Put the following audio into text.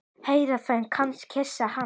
Ég heyrði hann kyssa hana.